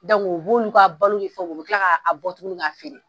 u b'olu ka balo ni fɛn olu kila bɔ tuguni k'a feere ?